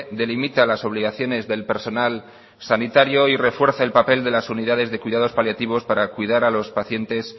delimita las obligaciones del personal sanitario y refuerza el papel de la unidades de cuidados paliativos para cuidar a los pacientes